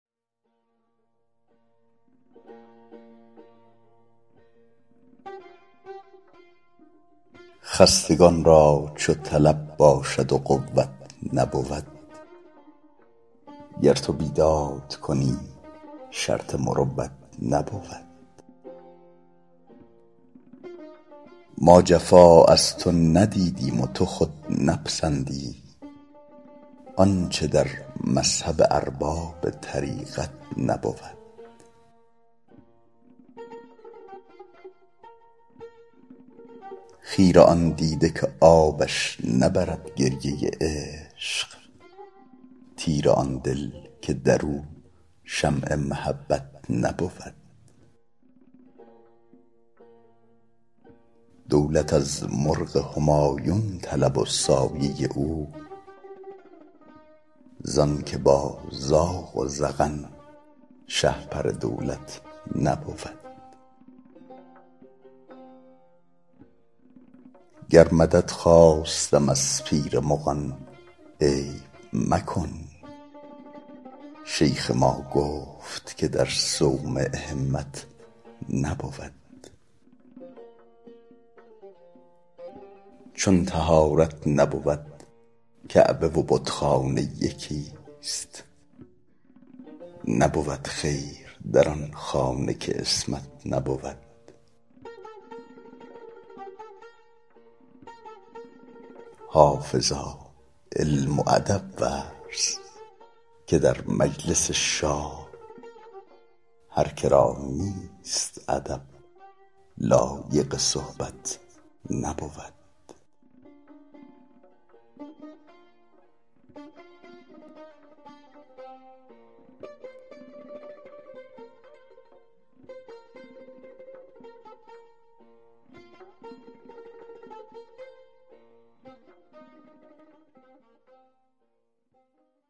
خستگان را چو طلب باشد و قوت نبود گر تو بیداد کنی شرط مروت نبود ما جفا از تو ندیدیم و تو خود نپسندی آنچه در مذهب ارباب طریقت نبود خیره آن دیده که آبش نبرد گریه عشق تیره آن دل که در او شمع محبت نبود دولت از مرغ همایون طلب و سایه او زان که با زاغ و زغن شهپر دولت نبود گر مدد خواستم از پیر مغان عیب مکن شیخ ما گفت که در صومعه همت نبود چون طهارت نبود کعبه و بتخانه یکیست نبود خیر در آن خانه که عصمت نبود حافظا علم و ادب ورز که در مجلس شاه هر که را نیست ادب لایق صحبت نبود